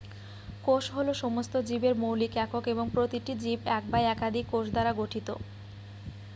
কোষ হলো সমস্ত জীবের মৌলিক একক এবং প্রতিটি জীব এক বা একাধিক কোষ দ্বারা গঠিত